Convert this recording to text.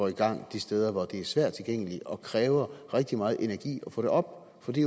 i gang de steder hvor det er svært tilgængeligt og kræver rigtig meget energi at få det op for det